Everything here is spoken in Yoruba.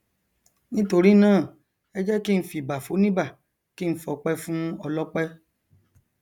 nítorínáà ẹ jẹ kí n fìbà foníbà kí n fọpẹ fún ọlọpẹ